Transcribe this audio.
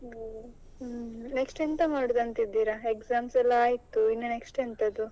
Next ಎಂತ ಮಾಡೋದು ಅಂತ ಇದ್ದೀರಾ exams ಎಲ್ಲಾ ಆಯ್ತು ಇನ್ನು next ಎಂತದ್ದು?